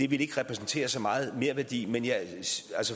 vil repræsentere så meget merværdi men jeg